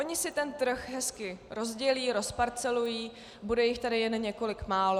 Oni si ten trh hezky rozdělí, rozparcelují, bude jich tady jen několik málo.